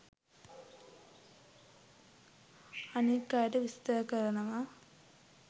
අනික් අයට විස්තර කරනවා.